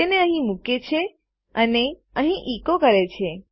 તેને અહીં મુકે છે અને અહીં એકો કરે છે